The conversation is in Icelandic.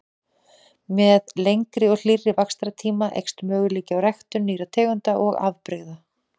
Með lengri og hlýrri vaxtartíma eykst möguleiki á ræktun nýrra tegunda og afbrigða.